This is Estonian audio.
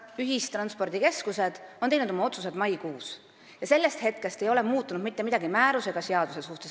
Ühistranspordikeskused on teinud oma otsused maikuus ja sellest hetkest ei ole määruse ega seaduse suhtes mitte midagi muutunud.